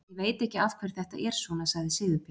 Ég veit ekki af hverju þetta er svona, sagði Sigurbjörn.